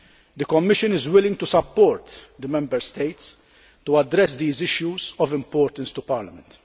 The Commission is willing to support the Member States in addressing these issues of importance to Parliament.